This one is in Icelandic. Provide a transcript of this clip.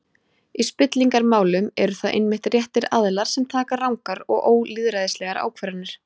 Í spillingarmálum eru það einmitt réttir aðilar sem taka rangar og ólýðræðislegar ákvarðanir.